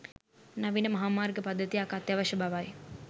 නවීන මහා මාර්ග පද්ධතියක් අත්‍යවශ්‍ය බවයි